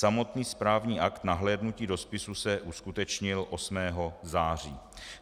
Samotný správní akt nahlédnutí do spisu se uskutečnil 8. září.